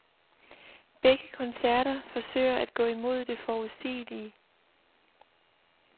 Begge koncerter forsøger at gå imod det forudsigelige.